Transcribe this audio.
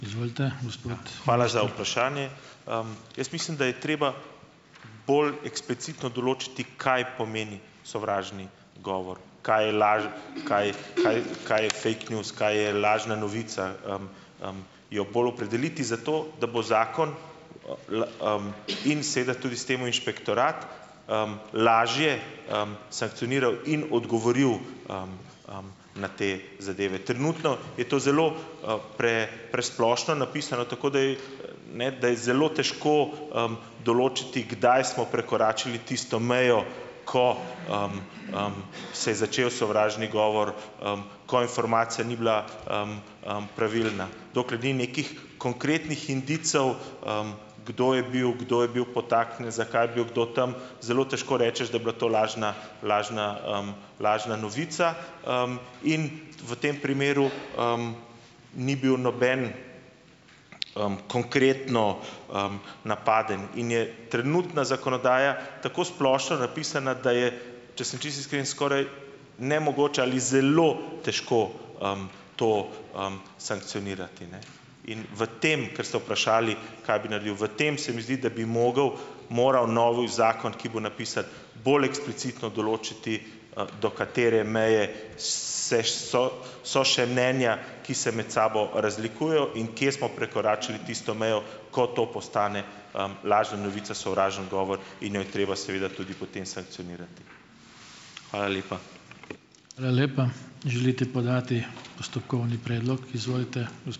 Izvolite, gospod. Hvala za vprašanje. Jaz mislim, da je treba bolj eksplicitno določiti, kaj pomeni sovražni govor, kaj je laž, kaj kaj kaj je fake news, kaj je lažna novica, jo bolj opredeliti, zato da bo zakon in se da s tem tudi inšpektorat lažje sankcioniral in odgovoril na te zadeve. Trenutno je to zelo presplošno napisano, tako da je, ne da je zelo težko določiti, kdaj smo prekoračili tisto mejo, ko se je začel sovražni govor, ko informacija ni bila pravilna. Dokler ni nekih konkretnih indicev, kdo je bil, kdo je bil podtaknjen, zakaj bil kdo zelo težko rečeš, da je bila to lažna lažna lažna novica. In v tem primeru ni bil noben konkretno napaden in je trenutna zakonodaja tako splošno napisana, da je, če sem čisto iskren, skoraj nemogoče ali zelo težko to sankcionirati, ne. In v tem, kar ste vprašali, kaj bi naredil, v tem se mi zdi, da bi mogel moral novi zakon, ki bo napisan, bolj eksplicitno določiti, @ do ka tere meje so so še mnenja, ki se med sabo razlikujejo, in kje smo prekoračili tisto mejo, ko to postane lažna novica, sovražni govor in jo je treba seveda tudi potem sankcionirati. Hvala lepa.